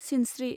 सिनस्रि